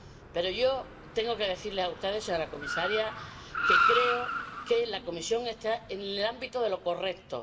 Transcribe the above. Pero yo tengo que decirle a usted, señora comisaria, que creo que la Comisión está en el ámbito de lo correcto.